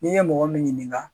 N'i ye mɔgɔ min ɲinin ka